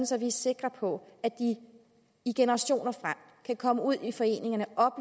så vi er sikre på at de i generationer frem kan komme ud i foreningerne og